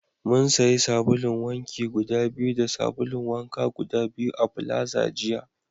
Mun sayi sabulun wanki guda biyu da sabulun wanka guda biyu a plaza jiya